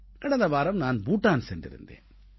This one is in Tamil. கடந்த வாரம் நான் பூட்டான் சென்றிருந்தேன்